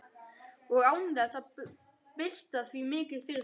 Og án þess að bylta því mikið fyrir sér.